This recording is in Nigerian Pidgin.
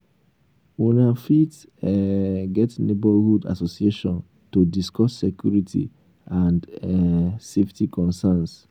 una um fit um get neighbourhood assosiation to discuss security and um safety concerns